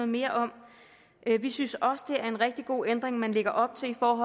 mere om vi synes også det er en rigtig god ændring man lægger op til om